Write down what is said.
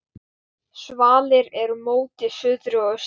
Svalir eru móti suðri og austri.